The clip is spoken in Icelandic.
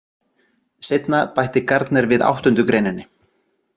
Seinna bætti Gardner við áttundu greindinni.